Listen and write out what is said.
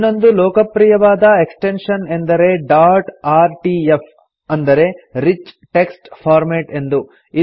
ಇನ್ನೊಂದು ಲೋಕಪ್ರಿಯವಾದ ಎಕ್ಸ್ಟೆನ್ಶನ್ ಎಂದರೆ ಡಾಟ್ ಆರ್ಟಿಎಫ್ ಅಂದರೆ ರಿಚ್ ಟೆಕ್ಸ್ಟ್ ಫಾರ್ಮ್ಯಾಟ್ ಎಂದು